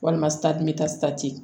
Walima